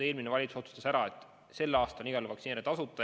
Eelmine valitsus otsustas ära, et sel aastal on igal juhul vaktsineerimine tasuta.